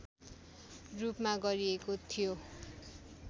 रूपमा गरिएको थियो